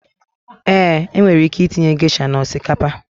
Eeǃ E nwere ike itinye gesha na osikapa.